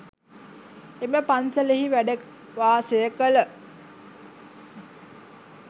එම පන්සලෙහි වැඩ වාසය කළ